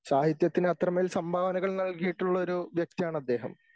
സാഹിത്യത്തിന് അത്രമേൽ സംഭാവനകൾ നൽകിയിട്ടുള്ളൊരു വ്യക്തിയാണദ്ദേഹം.